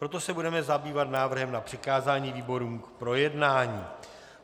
Proto se budeme zabývat návrhem na přikázání výborům k projednání.